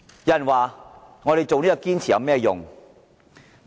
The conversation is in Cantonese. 有人問我們堅持有何用？